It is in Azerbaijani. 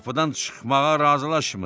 o qapıdan çıxmağa razılaşmırdı.